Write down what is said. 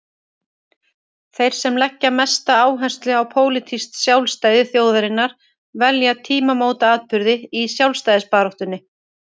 Þeir sem leggja mesta áherslu á pólitískt sjálfstæði þjóðarinnar velja tímamótaatburði í sjálfstæðisbaráttunni.